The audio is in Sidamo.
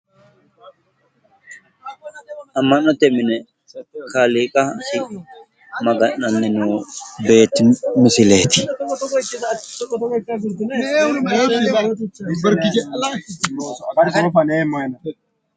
amma'note mine kaaliiqasi maga'nanni noo beetti misileeti.